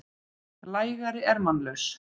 lægari er mannlaus.